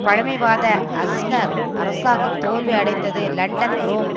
பழமைவாத அஸ்னர் அரசாங்கம் தோல்வி அடைந்தது லண்டன் ரோம்